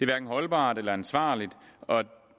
hverken holdbart eller ansvarligt og